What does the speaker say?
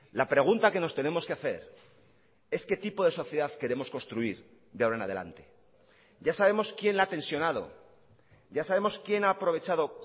la pregunta que nos tenemos que hacer es qué tipo de sociedad queremos construir de ahora en adelante ya sabemos quién la ha tensionado ya sabemos quién ha aprovechado